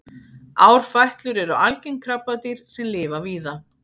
árfætlur eru algeng krabbadýr sem lifa víða